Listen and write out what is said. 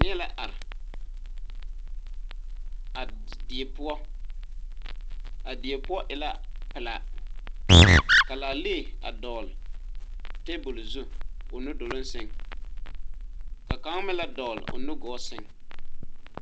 Nie la are a die poɔ a die poɔ e la pilaa ka laalee a dɔgle tabole zu o nu duloŋ sɛŋ ka kaŋa meŋ la dɔgle o nu gɔɔ sɛŋ.